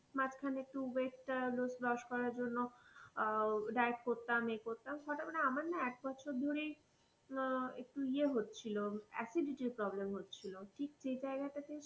মাঝখানে একটু weight টা loss করার জন্য আহ diet করতাম, এ করতাম হঠাৎ করে, আমার না এক বছর ধরেই উহ একটু ইযে হচ্ছিলো acidity র problem হচ্ছিলো।